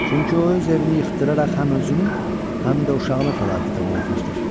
Çünki o öz evini yıxdıraraq həm özünü, həm də uşağını fəlakətə uğratmışdır.